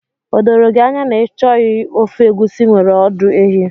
O doro gị anya na ị chọghị ofe egusi nwere ọdụ ehi?